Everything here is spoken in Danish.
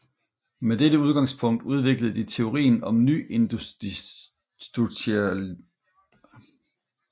Med dette udgangspunkt udviklede de teorien om nyinstitutionalismen